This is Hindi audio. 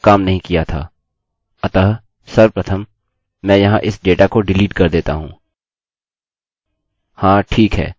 अतः सर्वप्रथम मैं यहाँ इस डेटा को डिलीट कर देता हूँ